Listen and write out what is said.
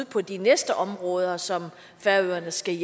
på de næste områder som færøerne skal